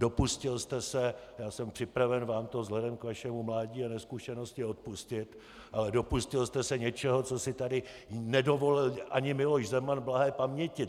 Dopustil jste se, já jsem připraven vám to vzhledem k vašemu mládí a nezkušenosti odpustit, ale dopustil jste se něčeho, co si tady nedovolil ani Miloš Zeman blahé paměti!